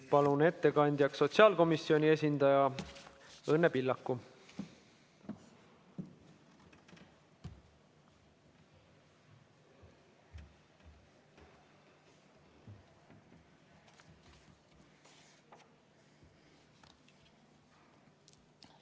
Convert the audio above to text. Palun ettekandjaks sotsiaalkomisjoni esindaja Õnne Pillaku!